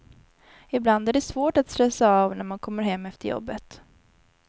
Ibland är det svårt att stressa av när man kommer hem efter jobbet.